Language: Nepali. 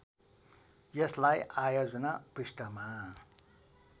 यसलाई आयोजना पृष्ठमा